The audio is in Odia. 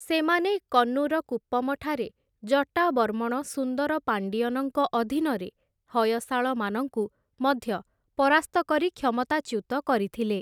ସେମାନେ କନ୍ନୁର କୁପ୍ପମଠାରେ, ଜଟାବର୍ମଣ ସୁନ୍ଦର ପାଣ୍ଡିୟନଙ୍କ ଅଧୀନରେ ହୟଶାଳମାନଙ୍କୁ ମଧ୍ୟ ପରାସ୍ତ କରି କ୍ଷମତାଚ୍ୟୁତ କରିଥିଲେ ।